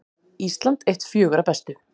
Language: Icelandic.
Ísland eitt fjögurra bestu